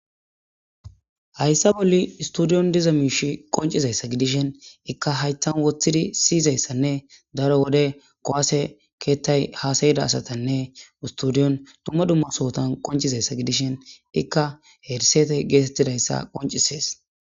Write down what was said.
Hayssa bolli istudiyon diza miishi qoncizayssa gidishen ikka haytan woththidi siyizayssanne daro wode kowase keettay haasayida asatanne studiyon dumma dummasohotan qoncizayssa gidishen ikka herisete geetettidayssa qoncisees..